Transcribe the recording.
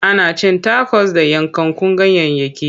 Ana cin takos da yankakkun ganyayyaki.